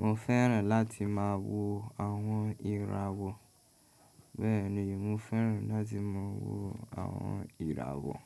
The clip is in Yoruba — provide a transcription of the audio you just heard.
mo fẹ́ràn láti máa wo àwọn ìràwọ̀. Bẹ́ẹ̀ni mo fẹ́ràn láti máa wo àwọn ìràwọ̀.